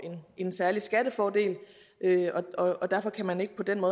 en særlig skattefordel og derfor kan man ikke på den